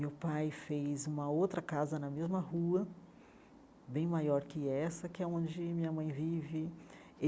Meu pai fez uma outra casa na mesma rua, bem maior que essa, que é onde minha mãe vive.